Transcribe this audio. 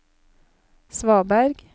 svaberg